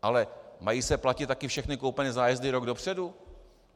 Ale mají se platit také všechny koupené zájezdy rok dopředu?